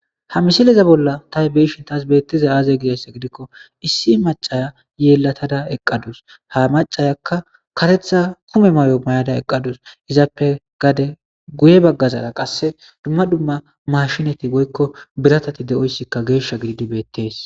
Ha misileza bolla tah beishin taas beettiza aaze gidess gidikko issi macaya yeelatada eqqadus ha macayakka katetha kume mayo may'ada eqqadus izaappe gade guye baggazara qasse dumma dumma mashinati goykko biratati de'oyssikka geeshsha gididi beettees